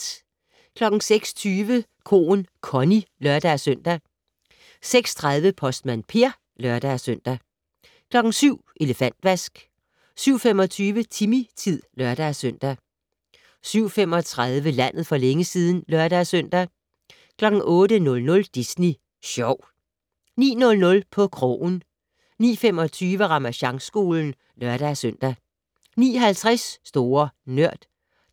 06:20: Koen Connie (lør-søn) 06:30: Postmand Per (lør-søn) 07:00: Elefantvask 07:25: Timmy-tid (lør-søn) 07:35: Landet for længe siden (lør-søn) 08:00: Disney Sjov 09:00: På krogen 09:25: Ramasjangskolen (lør-søn) 09:50: Store Nørd